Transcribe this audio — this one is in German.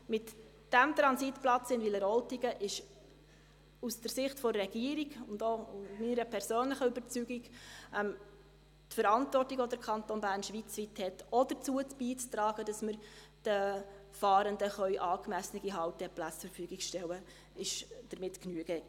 Mit diesem Transitplatz in Wileroltigen ist aus Sicht der Regierung – und das ist auch meine persönliche Überzeugung – der Verantwortung Genüge getan, welche der Kanton Bern schweizweit hat, auch dazu beizutragen, dass wir den Fahrenden angemessene Halteplätze zur Verfügung stellen können.